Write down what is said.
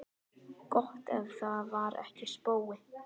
Gott ef það var ekki spói.